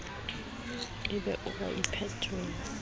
e be o a iphetela